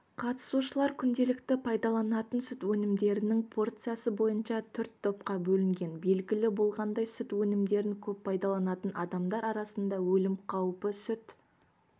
қатысушылар күнделікті пайдалантын сүт өнімдерінің порциясы бойынша төрт топқа бөлінген белгілі болғандай сүт өнімдерін көп пайдаланатын адамдар арасында өлім қаупі сүт